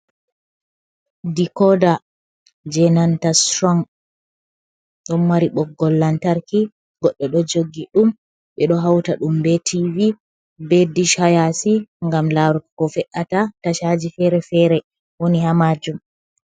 Dikoda jenanta strong don mari boggol lantarki, goddo do joggi dum be do hauta dum be tivi be dish hayasi gam laru ko fe’ata tashaji fere-fere woni ha majum.